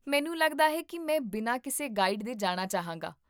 ਮੈਨੂੰ ਲੱਗਦਾ ਹੈ ਕਿ ਮੈਂ ਬਿਨਾਂ ਕਿਸੇ ਗਾਈਡ ਦੇ ਜਾਣਾ ਚਾਹਾਂਗਾ